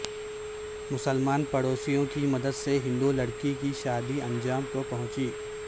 مسلمان پڑوسیوں کی مدد سے ہندو لڑکی کی شادی انجام کو پہنچی